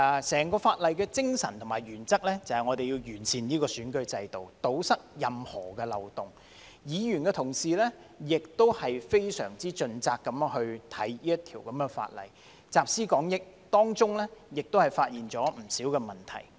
整項法案的精神和原則，便是要完善選舉制度，堵塞任何漏洞；議員亦非常盡責地審議這項法例，集思廣益，當中亦發現不少問題。